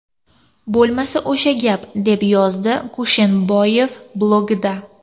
Bo‘lmasa, o‘sha gap...”, deb yozdi Kusherboyev blogida.